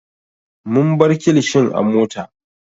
Mun bar kilishin a mota.